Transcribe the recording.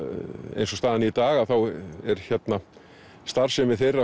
eins og staðan er í dag þá er starfsemi þeirra